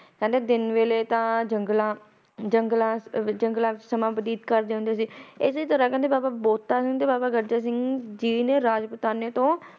ਕਹਿੰਦੇ ਦਿਨ ਵੇਲੇ ਤਾ ਜੰਗਲਾਂ ਜੰਗਲਾਂ ਜੰਗਲਾਂ ਵਿੱਚ ਸਮਾਂ ਬਤੀਤ ਕਰਦੇ ਹੁੰਦੇ ਸੀ ਏਦੇ ਦੋਰਾਨ ਕਹਿੰਦੇ ਬਾਬਾ ਬੋਤਾ ਸਿੰਘ ਤੇ ਬਾਬਾ ਗਜਰਾ ਸਿੰਘ ਜੀ ਨੇ ਰਾਜਪੂਤਾਨੇ ਤੋਂ